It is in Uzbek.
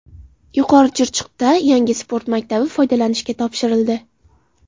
Yuqori Chirchiqda yangi sport maktabi foydalanishga topshirildi.